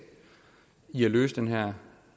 i at løse den her